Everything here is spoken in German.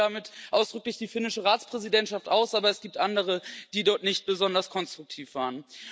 Ich nehme davon ausdrücklich den finnischen Ratsvorsitz aus, aber es gibt andere, die dort nicht besonders konstruktiv waren.